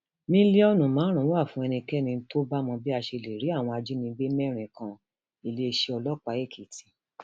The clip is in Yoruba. mílíọnù márùnún wà fún ẹnikẹni tó bá mọ bí a ṣe lè rí àwọn ajínigbé mẹrin kaniléeṣẹ ọlọpàá èkìtì